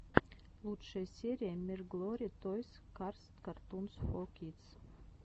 лучшая серия мирглори тойс карс картунс фор кидс